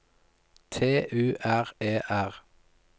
T U R E R